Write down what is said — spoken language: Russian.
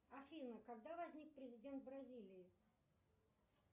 афина когда возник президент бразилии